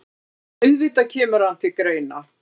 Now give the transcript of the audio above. Auðvitað kemur hann til greina.